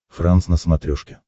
франс на смотрешке